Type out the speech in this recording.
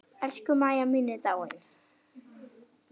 Elsku Mæja mín er dáin.